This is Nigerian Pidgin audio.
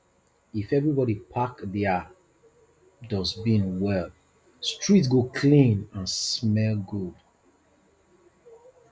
if everybody pack their dustbin well street go clean and smell good